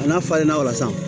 A n'a falenna o la sisan